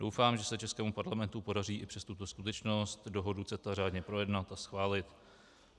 Doufám, že se českému Parlamentu podaří i přes tuto skutečnost dohodu CETA řádně projednat a schválit.